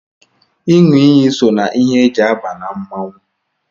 ịṅụ iyi so na ihe e ji aba na mmọnwụ